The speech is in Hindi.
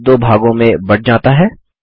तल दो भागों में बंट जाता है